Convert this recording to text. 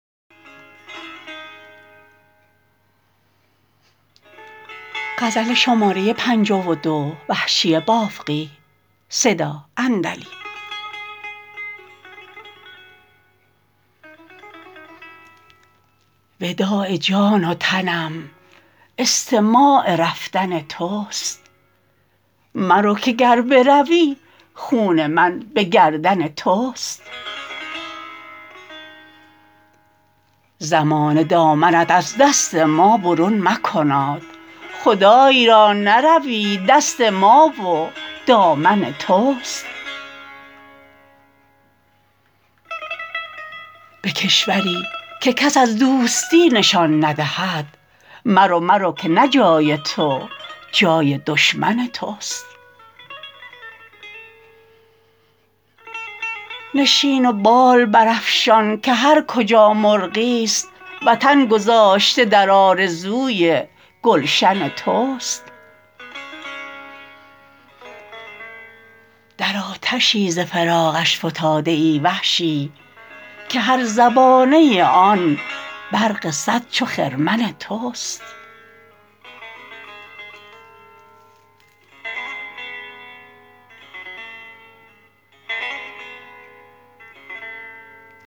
وداع جان و تنم استماع رفتن تست مرو که گر بروی خون من به گردن تست زمانه دامنت از دست ما برون مکناد خدای را نروی دست ما و دامن تست به کشوری که کس از دوستی نشان ندهد مرو مرو که نه جای تو جای دشمن تست نشین و بال برافشان که هر کجا مرغیست وطن گذاشته در آرزوی گلشن تست در آتشی ز فراقش فتاده ای وحشی که هر زبانه آن برق سد چو خرمن تست